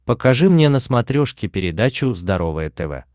покажи мне на смотрешке передачу здоровое тв